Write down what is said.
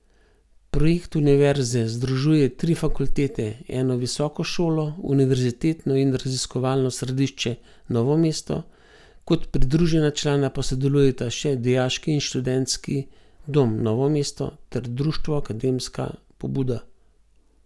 Projekt univerze združuje tri fakultete, eno visoko šolo, Univerzitetno in raziskovalno središče Novo mesto, kot pridružena člana pa sodelujeta še Dijaški in študentski dom Novo mesto ter Društvo akademska pobuda.